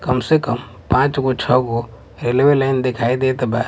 कम से कम पाँच गो छौ गो रेलवे लाइन देखाई देत बा।